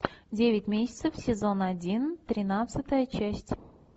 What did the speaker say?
девять месяцев сезон один тринадцатая часть